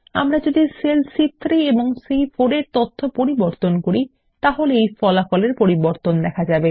আমরা যদি সেল সি3 এবং সি4 এর তথ্য পরিবর্তন করি তাহলে ফল এর পরিবর্তন দেখা যাবে